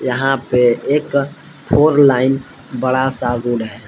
यहां पे एक फोर लाइन बड़ा सा रोड है।